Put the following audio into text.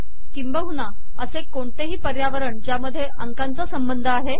किंबहुना असे कोणतेही पर्यावरण ज्यामध्ये अंकांचा संबंध आहे